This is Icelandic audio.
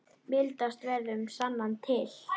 Mildast verður sunnan til.